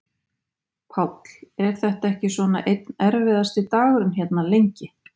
Páll: Er þetta ekki svona einn erfiðasti dagurinn hérna, lengi?